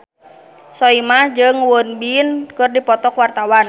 Soimah jeung Won Bin keur dipoto ku wartawan